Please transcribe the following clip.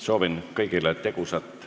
Soovin kõigile tegusat tööpäeva jätku!